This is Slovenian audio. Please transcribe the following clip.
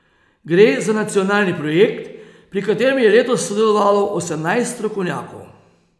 Gre za nacionalni projekt, pri katerem je letos sodelovalo osemnajst strokovnjakov.